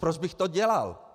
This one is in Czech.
Proč bych to dělal?